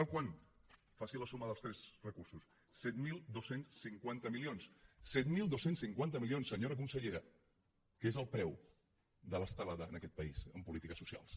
sap quant faci la suma de tots tres recursos set mil dos cents i cinquanta milions set mil dos cents i cinquanta milions senyora consellera que és el preu de l’estelada en aquest país en polítiques socials